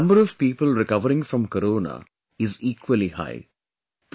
However, the number of people recovering from Corona is equally high